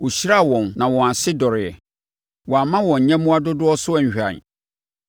Ɔhyiraa wɔn na wɔn ase dɔreeɛ. Wamma wɔn ayɛmmoa dodoɔ so anhwan.